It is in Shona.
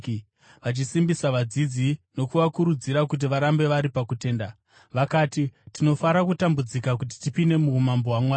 vachisimbisa vadzidzi nokuvakurudzira kuti varambe vari pakutenda. Vakati, “Tinofanira kutambudzika kuti tipinde muumambo hwaMwari.”